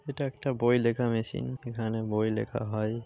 এটা একটা বই লেখা মেশিন। এখানে বই লেখা হয়।